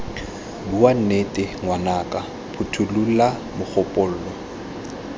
bua nnete ngwanaka phothulola mogopolo